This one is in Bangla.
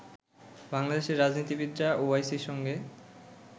বাংলাদেশের রাজনীতিবিদরা ওআইসির সঙ্গে